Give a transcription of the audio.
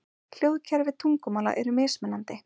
Hljóðkerfi tungumála eru mismunandi.